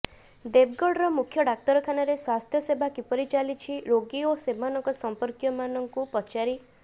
ଦେବଗଡର ମୂଖ୍ୟ ଡାକ୍ତରଖାନାରେ ସ୍ୱାସ୍ଥ ସେବା କିପରି ଚାଲିଛି ରୋଗି ଓ ସେମାନଙ୍କ ସଂପର୍କୀୟ ମାନଙ୍କୁ ପଚାରି